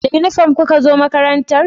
Da inifam ku ka zo makarantar?